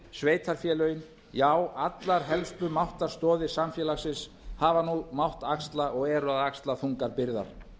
sveitarfélögin já allar helstu máttarstoðir samfélagsins hafa nú mátt axla og eru að axla þungar byrðar